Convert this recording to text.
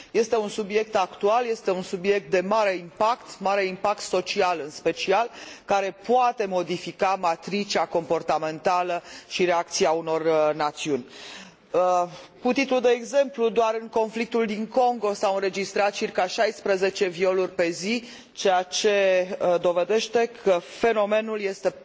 Este un subiect actual, este un subiect de mare impact, mare impact social în special, care poate modifica matricea comportamentală și reacția unor națiuni. Cu titlu de exemplu doar, în conflictul din Congo s au înregistrat circa 16 violuri pe zi, ceea ce dovedește că fenomenul este